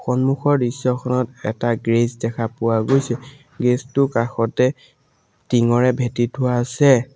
সন্মুখৰ দৃশ্যখনত এটা গেৰেজ দেখা পোৱা গৈছে গেৰেজটোৰ কাষতে টিংৰে ভেটি থোৱা আছে।